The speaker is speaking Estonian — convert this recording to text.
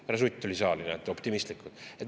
Härra Sutt tuli saali, näete, optimistlikult.